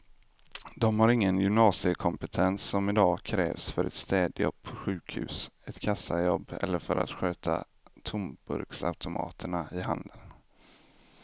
De har ingen gymnasiekompetens som i dag krävs för ett städjobb på sjukhus, ett kassajobb eller för att sköta tomburksautomaterna i handeln.